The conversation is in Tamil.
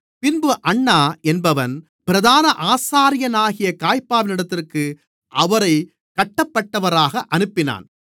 பின்பு அன்னா என்பவன் பிரதான ஆசாரியனாகிய காய்பாவினிடத்திற்கு அவரைக் கட்டபட்டவராக அனுப்பினான்